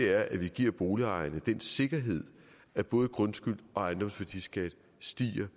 er at vi giver boligejerne den sikkerhed at både grundskyld og ejendomsværdiskat stiger